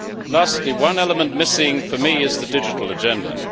Lastly, one element missing for me is the digital agenda.